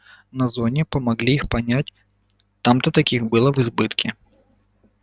на зоне помогли их понять там-то таких было в избытке